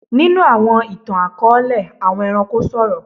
Nínú àwọn ìtàn-akọọlẹ, àwọn ẹranko sọrọ.